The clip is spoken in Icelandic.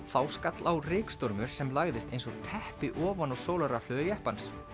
þá skall á rykstormur sem lagðist eins og teppi ofan á sólarrafhlöður jeppans